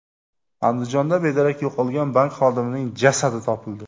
Andijonda bedarak yo‘qolgan bank xodimining jasadi topildi.